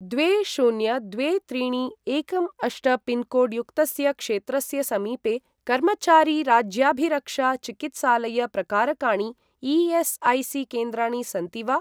द्वे शून्य द्वे त्रीणि एकं अष्ट पिन्कोड् युक्तस्य क्षेत्रस्य समीपे कर्मचारी राज्याभिरक्षा चिकित्सालय प्रकारकाणि ई.एस्.ऐ.सी.केन्द्राणि सन्ति वा?